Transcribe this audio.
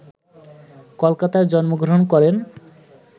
কলকাতায় জন্মগ্রহণ করেন